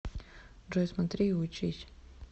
джой смотри и учись